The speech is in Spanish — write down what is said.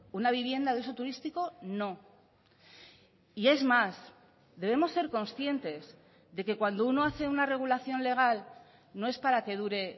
una vivienda de uso turístico no y es más debemos ser conscientes de que cuando uno hace una regulación legal no es para que dure